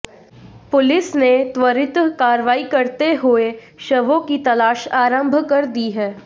police ने त्वरित कार्रवाई करते हुए शवों की तलाश आरंभ कर दी है